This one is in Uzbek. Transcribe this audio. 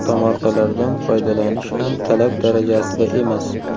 Tomorqalardan foydalanish ham talab darajasida emas.